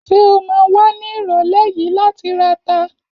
Ṣé o ma wà ní ìrọ̀lẹ́ yìí láti rata?